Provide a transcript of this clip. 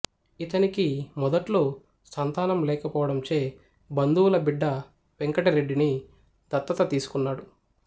ఇతనికి మొదట్లో సంతానం లేకపోవడంచే బంధువుల బిడ్డ వెంకటరెడ్డిని దత్తత తీసుకున్నాడు